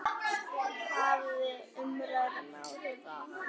Hafði umræðan áhrif á hana?